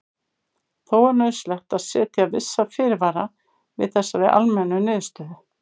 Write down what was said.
Þó er nauðsynlegt að setja vissa fyrirvara við þessari almennu niðurstöðu.